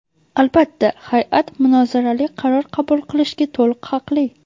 Albatta hay’at munozarali qaror qabul qilishga to‘liq haqli.